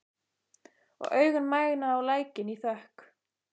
Og augun mæna á lækninn í þökk.